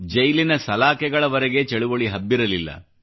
ಜೈಲಿನ ಸಲಾಕೆಗಳವರೆಗೆ ಚಳುವಳಿ ಹಬ್ಬಿರಲಿಲ್ಲ